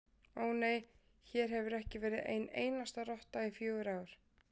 Ó, nei, hér hefur ekki verið ein einasta rotta í fjögur ár